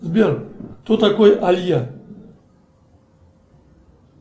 сбер кто такой айя